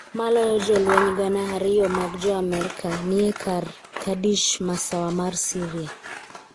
Maloyo jolweny gana ariyo mag joamerka nie e kar Kurdish, masawa mar Syria